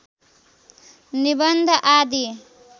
निबन्ध आदि